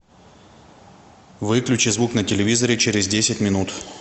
выключи звук на телевизоре через десять минут